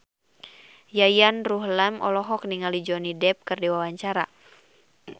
Yayan Ruhlan olohok ningali Johnny Depp keur diwawancara